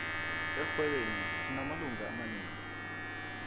erhwebeni sinamalunga amanengi